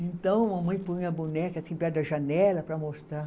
Então, a mãe põe a boneca, assim, perto da janela para mostrar.